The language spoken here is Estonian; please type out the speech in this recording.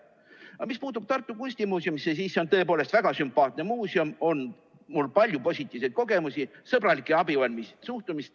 Aga mis puutub Tartu Kunstimuuseumisse, siis see on tõepoolest väga sümpaatne muuseum, mul on sealt palju positiivseid kogemusi, sõbralik ja abivalmis suhtumine.